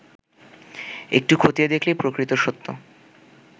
একটু খতিয়ে দেখলেই প্রকৃত সত্য